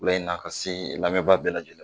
Wula in na ka se n lamɛnbaa bɛɛ lajɛlen ma